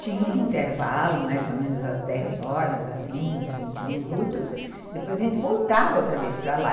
Tinha um intervalo, mais ou menos às dez horas, de uns vinte minutos, depois a gente voltava outra vez para lá.